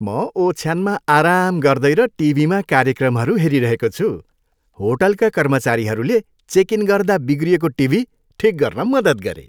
म ओछ्यानमा आराम गर्दै र टिभीमा कार्यक्रमहरू हेरिरहेको छु। होटलका कर्मचारीहरूले चेक इन गर्दा बिग्रिएको टिभी ठिक गर्न मद्दत गरे।